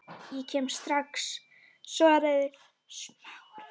Ég kem strax- svaraði Smári.